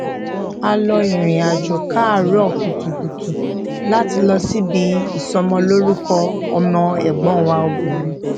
a lọ ìrìnàjò káàrọ kùtùkùtù láti lọ síbi ìsọmọlórúkọ ọmọ ẹgbọn wa obìnrin